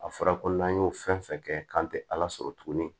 A fɔra ko n'an y'o fɛn fɛn kɛ k'an te ala sɔrɔ tuguni